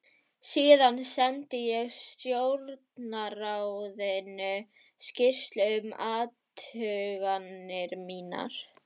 Síðan sendi ég Stjórnarráðinu skýrslu um athuganir mínar.